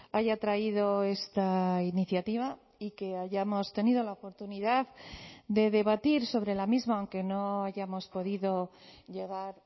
haya traído esta iniciativa y que hayamos tenido la oportunidad de debatir sobre la misma aunque no hayamos podido llegar